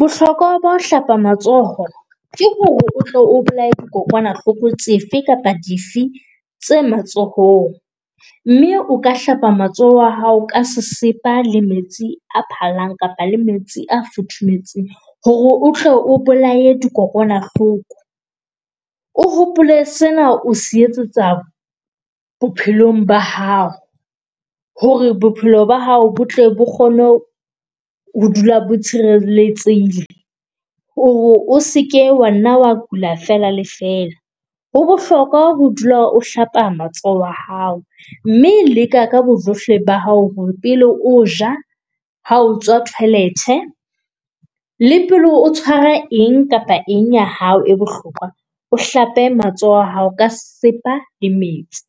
Bohlokwa ba ho hlapa matsoho ke hore o tlo o bolaye dikokwanahloko tsefe kapa dife tse matsohong mme o ka hlapa matsoho a hao ka sesepa le metsi a phallang kapa le metsi a futhumetseng. Hore utlwe o bolaye di kokwanahloko, o hopole sena o se etsetsa bophelong ba hao hore bophelo ba hao botle bo kgone ho ho dula bo tshireletsehile, hore o seke wa nna wa kula fela le fela. Ho bohlokwa ho dula o hlapa matsoho a hao mme leka ka bojohle ba hao pele o ja. Ha o tswa toilet le pele o tshwara eng kapa eng ya hao e bohlokwa, o hlape matsoho a hao ka sesepa le metsi